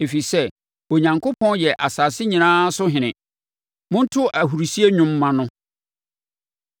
Ɛfiri sɛ Onyankopɔn yɛ asase nyinaa so Ɔhene. Monto ahurisie nnwom mma no.